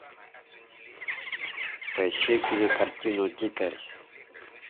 поищи кинокартину дикарь